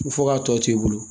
Fo k'a tɔ to i bolo